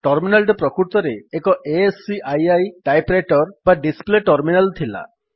terminal ଟି ପ୍ରକୃତରେ ଏକ ଆସ୍କି ଟାଇପ୍ ରାଇଟର୍ ବା ଡିସ୍ପ୍ଲେ ଟର୍ମିନାଲ୍ ଥିଲା